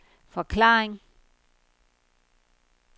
forklaring